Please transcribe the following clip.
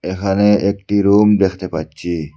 এখানে একটি রুম দেখতে পাচ্ছি।